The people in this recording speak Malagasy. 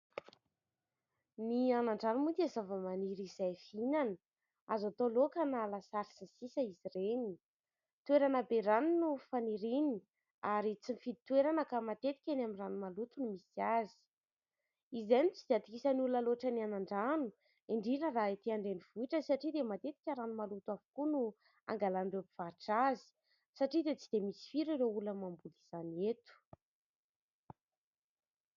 Ny anandrano moa dia zavamaniry izay fhinana , azo tao laoka na lasary sy ny sisa izy ireny .Toerana be rano no faniriny ary tsy mifidy toerana ka matetika eny amin'ny ranomaloto no misy azy ;.Izay no tsy atokisan ny olona loatra ny anandrano indrindra raha etỳ andrenivohitra satria dia matetika rano maloto avokoa no angalan'ireo mpivarotra azy ;satria dia tsy da misy firy ireo olona mamboly izany eto .